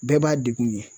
Bɛɛ b'a degun ye